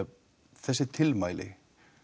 þessi tilmæli